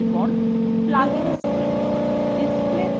এরপর plugins menu